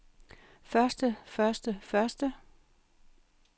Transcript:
første første første